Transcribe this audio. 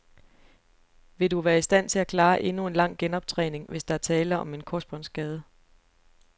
Vil du være i stand til at klare endnu en lang genoptræning, hvis der er tale om en korsbåndsskade.